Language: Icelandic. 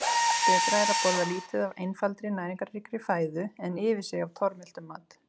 Betra er að borða lítið af einfaldri, næringarríkri fæðu, en yfir sig af tormeltum mat.